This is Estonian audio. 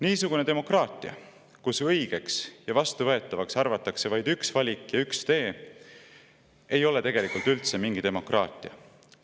Niisugune demokraatia, kus õigeks ja vastuvõetavaks arvatakse vaid üks valik ja üks tee, ei ole tegelikult üldse mingi demokraatia.